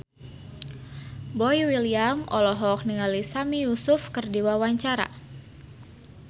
Boy William olohok ningali Sami Yusuf keur diwawancara